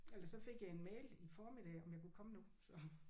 Eller så fik jeg en mail i formiddag om jeg kunne komme nu så